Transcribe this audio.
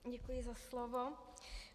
Děkuji za slovo.